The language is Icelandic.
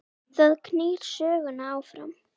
Það knýr söguna áfram